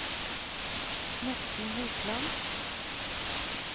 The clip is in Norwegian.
Morten Hopland